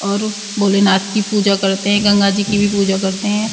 और भोले नाथ की पूजा करते हैं। गंगा जी की भी पूजा करते हैं।